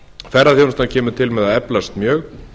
ferðaþjónustan kemur til með að eflast mjög